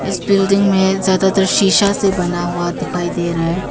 इस बिल्डिंग में ज्यादातर शीशा से बना हुआ दिखाई दे रहा है।